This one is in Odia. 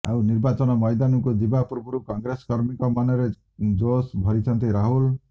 ଆଉ ନିର୍ବାଚନ ମଇଦାନକୁ ଯିବା ପୂର୍ବରୁ କଂଗ୍ରେସ କର୍ମୀଙ୍କ ମନରେ ଜୋଶ ଭରିଛନ୍ତି ରାହୁଲ